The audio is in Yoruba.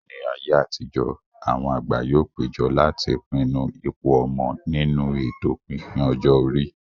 Ní ayé àtijó, àwọn àgbà yóò péjọ láti pinnu ipò ọmọ nínú ètò pípín ọjọ́ orí